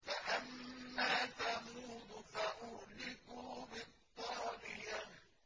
فَأَمَّا ثَمُودُ فَأُهْلِكُوا بِالطَّاغِيَةِ